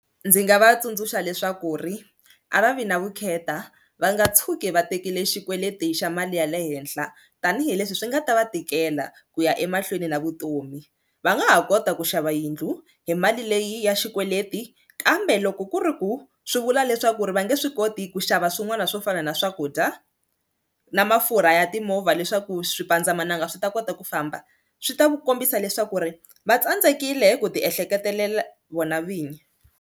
Ndzi nga va tsundzuxa leswaku ri a va vi na vukheta va nga tshuki va tekile xikweleti xa mali ya le henhla tanihileswi swi nga ta va tikela ku ya emahlweni na vutomi, va nga ha kota ku xava yindlu hi mali leyi ya xikweleti kambe loko ku ri ku swi vula leswaku ri va nge swi koti ku xava swin'wana swo fana na swakudya na mafurha ya timovha leswaku swipandzamananga swi ta kota ku famba swi ta ku kombisa leswaku ri va tsandzekile ku ti ehleketelela vona vinyi.